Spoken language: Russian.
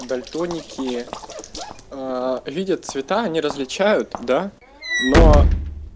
дальтоники видят цвета они различают да но